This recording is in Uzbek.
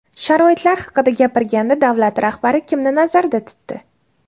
Sharoitlar haqida gapirganda davlat rahbari kimni nazarda tutdi?